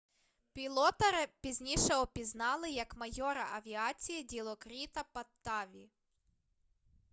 пілота пізніше опізнали як майора авіації ділокріта паттаві